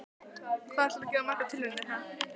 Hvað ætlarðu að gera margar tilraunir, ha?